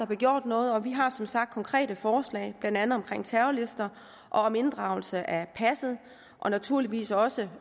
bliver gjort noget og vi har som sagt konkrete forslag blandt andet om terrorlister og om inddragelse af passet og naturligvis også